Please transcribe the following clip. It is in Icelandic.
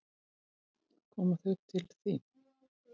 Koma þau til þín?